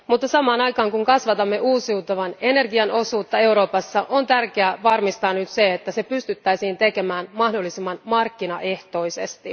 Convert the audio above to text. Mutta samaan aikaan, kun kasvatamme uusiutuvan energian osuutta Euroopassa, on tärkeää varmistaa, että se pystyttäisiin tekemään mahdollisimman markkinaehtoisesti.